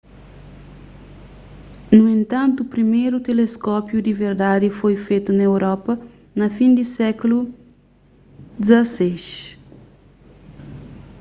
nu entantu priméru teleskópiu di verdadi foi fetu na europa na fin di sékulu xvi